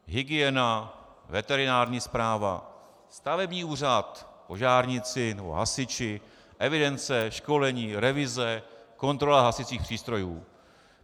Hygiena, veterinární správa, stavební úřad, požárníci nebo hasiči, evidence, školení, revize, kontrola hasicích přístrojů.